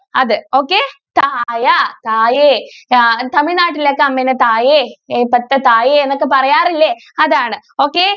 അത്. okay തായ തായേ താ~തമിഴ്നാട്ടിൽ ഒക്കെ അമ്മനെ തായേ തായേ എന്നൊക്കെ പറയാറില്ലേ അതാണ് okay?